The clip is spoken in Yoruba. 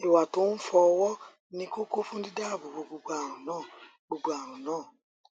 ìwà tó ń fọ ọwọ ni kókó fún dídáàbò bo gbogbo àrùn náà àrùn náà